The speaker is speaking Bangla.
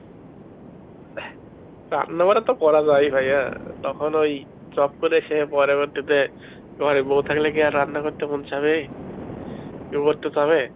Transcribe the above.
রান্না বাড়া তো করা যায় ভাইয়া তখন ওই ঝপ করে সে পরবর্তীতে ঘরে বউ থাকলে কি আর রান্না করতে মন চাবে? কেউ করতে চাবে যাবে?